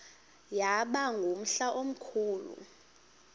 yaba ngumhla omkhulu